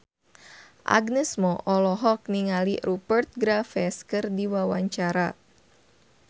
Agnes Mo olohok ningali Rupert Graves keur diwawancara